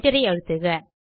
Enter அழுத்துக